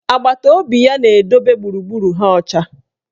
Agbataobi ya na-edobe gburugburu ha ọcha.